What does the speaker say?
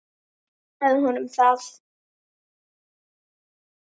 Hvernig líkaði honum það?